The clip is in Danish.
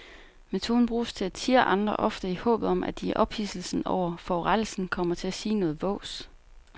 Metoden bruges til at tirre andre, ofte i håbet om at de i ophidselsen over forurettelsen kommer til at sige noget vås.